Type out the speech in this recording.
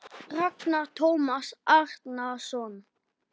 Ragnar Tómas Árnason